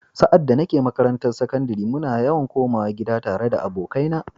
Sa’ad da nake makarantar sakandare, muna yawan komawa gida tare da abokaina.